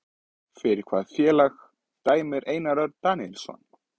Fyrir hvaða félag dæmir Einar Örn Daníelsson?